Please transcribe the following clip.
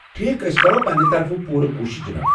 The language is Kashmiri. ٹھیكھ ، أسۍ کرو پنٕنہِ طرفہٕ پوٗرٕ کوُشش، جناب۔